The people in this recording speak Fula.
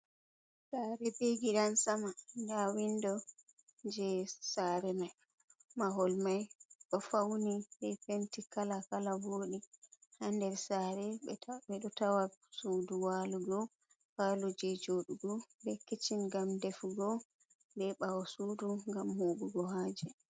Sare be gidan sama. Nda windo je sare mai, mahol mai ɗo fauni be penti kala kala voɗi. Ha nder sare ɓe ɗo tawa sudu walugo, palo je joɗugo be kiccin ngam defugo, be ɓawo sudu ngam huɓugo haaje.